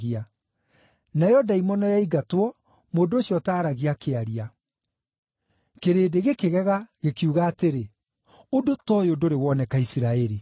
Nayo ndaimono yaingatwo, mũndũ ũcio ũtaaragia, akĩaria. Kĩrĩndĩ gĩkĩgega, gĩkiuga atĩrĩ, “Ũndũ ta ũyũ ndũrĩ woneka Isiraeli.”